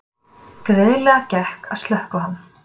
Greiðlega gekk að slökkva hann